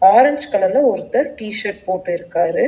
Orange கலர்ல ஒருத்தர் T shirt போட்டு இருக்காரு.